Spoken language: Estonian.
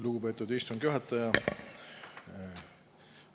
Lugupeetud istungi juhataja!